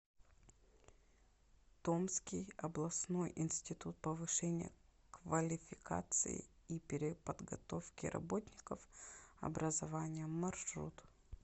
томский областной институт повышения квалификации и переподготовки работников образования маршрут